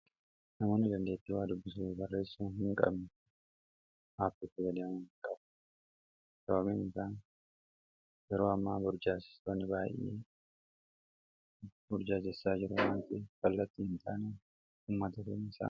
namooni jaggeettii waa dubbisai garreessu hin qabnu haabitti gadaam qabu sababiin aa yeroo amaa burjaasestooni baay'ee burjaajessaa jeroo amti fallattii hin taanaa ummatatoonii isa